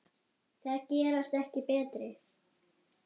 Þær gerast ekki betri.